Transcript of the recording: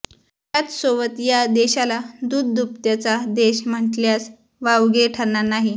याच सोबत या देशाला दूधदुभत्याचा देश म्हणल्यास वावगे ठरणार नाही